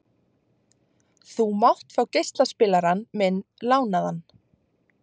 Þú mátt fá geislaspilarann minn lánaðan.